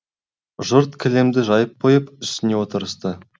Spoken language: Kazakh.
жұрт кілемді жайып қойып үстіне отырысты